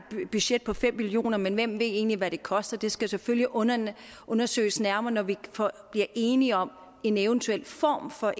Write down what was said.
budget på fem million kr men hvem ved egentlig hvad det koster det skal selvfølgelig undersøges undersøges nærmere når vi bliver enige om en eventuel form for